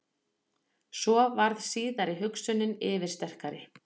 Svo varð síðari hugsunin yfirsterkari.